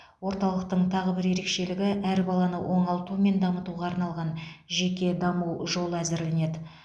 орталықтың тағы бір ерекшелігі әр баланы оңалту мен дамытуға арналған жеке даму жолы әзірленеді